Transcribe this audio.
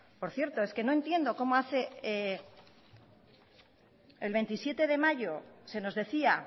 por cierto es que no entiendo cómo el veintisiete de mayo se nos decía